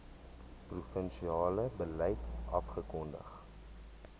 provinsiale beleid afgekondig